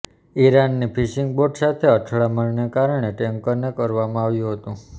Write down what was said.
ઈરાનની fishing boat સાથે અથડામણને કારણે ટેન્કરને કરવામાં આવ્યું હતું